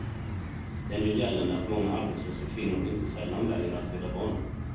Den gör gällande att många arbetslösa kvinnor inte sällan väljer att föda barn.